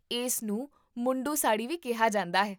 ਇਸ ਨੂੰ ਮੁੰਡੂ ਸਾੜੀ ਵੀ ਕਿਹਾ ਜਾਂਦਾ ਹੈ